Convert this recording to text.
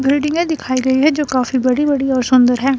बिल्डिंगें दिखाई दे रही हैं जो काफी बड़ी बड़ी और सुंदर हैं।